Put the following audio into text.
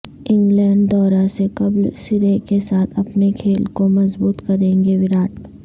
England دورہ سے قبل سرے کے ساتھ اپنے کھیل کو مضبوط کریں گے وراٹ